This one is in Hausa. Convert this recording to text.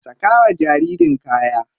Saka wa jaririn kaya.